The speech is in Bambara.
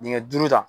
Dingɛ duuru ta